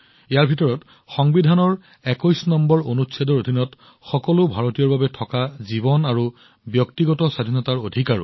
এটা অধিকাৰ আছিল সংবিধানৰ ২১ নং অনুচ্ছেদৰ অধীনত সকলো ভাৰতীয়ক প্ৰদান কৰা জীৱন আৰু ব্যক্তিগত স্বাধীনতাৰ অধিকাৰ